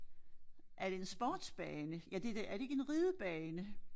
Er det en sportsbane ja det da er det ikke en ridebane?